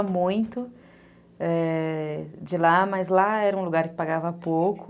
Eu gostava muito, é... de lá, mas lá era um lugar que pagava pouco.